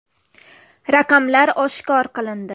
Raqamlar oshkor qilindi.